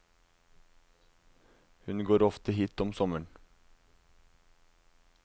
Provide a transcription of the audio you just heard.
Hun går ofte hit om sommeren.